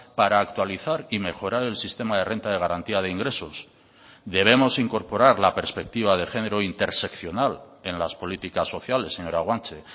para actualizar y mejorar el sistema de renta de garantía de ingresos debemos incorporar la perspectiva de género interseccional en las políticas sociales señora guanche